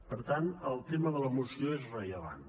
per tant el tema de la moció és rellevant